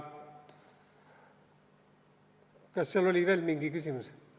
Kas seal oli veel mingi küsimus?